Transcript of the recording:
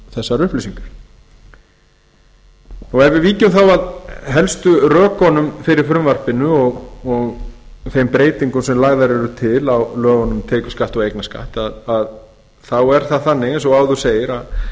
þessar upplýsingar ef við víkjum þá að helstu rökunum fyrir frumvarpinu og þeim breytingum sem lagðar eru til lögunum um tekjuskatt og eignarskatt þá er það þannig eins og áður segir að